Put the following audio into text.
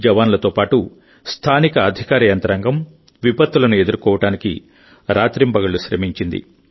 జవాన్లతో పాటు స్థానిక అధికార యంత్రాంగం విపత్తులను ఎదుర్కోవడానికి రాత్రింబగళ్లు శ్రమించింది